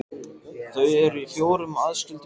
Þau eru í fjórum aðskildum hópum.